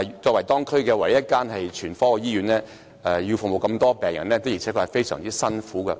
作為區內唯一一間全科醫院，聯合醫院要服務的病人眾多，的確是艱苦的工作。